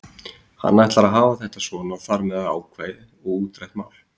Hann ætlar að hafa þetta svona og þar með er það ákveðið og útrætt mál.